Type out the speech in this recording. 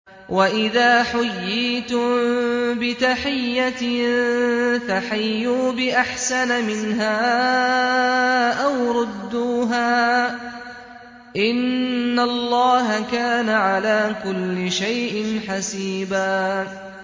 وَإِذَا حُيِّيتُم بِتَحِيَّةٍ فَحَيُّوا بِأَحْسَنَ مِنْهَا أَوْ رُدُّوهَا ۗ إِنَّ اللَّهَ كَانَ عَلَىٰ كُلِّ شَيْءٍ حَسِيبًا